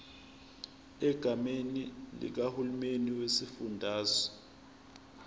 egameni likahulumeni wesifundazwe